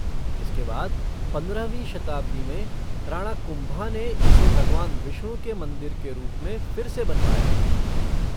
इसके बाद पंद्रहवीं शताब्दी में राणा कुंभा ने इसे भगवान विष्णु के मंदिर के रूप में फिर से बनवाया।